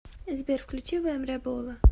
сбер включи вем ребола